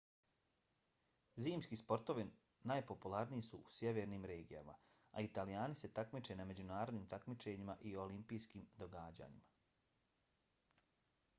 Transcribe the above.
zimski sportovi najpopularniji su u sjevernim regijama a italijani se takmiče na međunarodnim takmičenjima i olimpijskim događajima